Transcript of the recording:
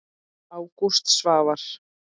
Ágúst Svavar.